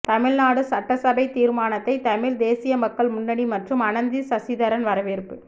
தமிழ்நாடு சட்டசபைத் தீர்மானத்தை தமிழ்த் தேசிய மக்கள் முன்னணி மற்றும் அனந்தி சசிதரன் வரவேற்பு